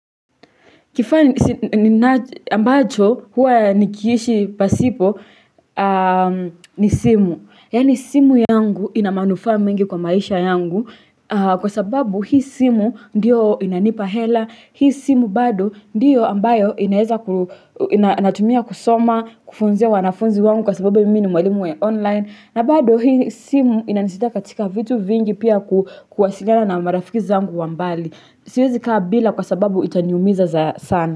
Kifaa ambacho huwa nikiishi pasipo ni simu. Yaani simu yangu ina manufaa mengi kwa maisha yangu kwa sababu hii simu ndiyo inanipa hela. Hii simu bado ndiyo ambayo inaweza natumia kusoma, kufunzia wanafunzi wangu kwa sababu mimi ni mwalimu wa online. Na bado hii simu inanisaidia katika vitu vingi pia kuwasiliana na marafiki zangu wa mbali. Siwezi kaa bila kwa sababu itaniumiza sana.